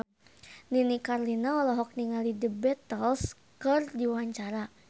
Nini Carlina olohok ningali The Beatles keur diwawancara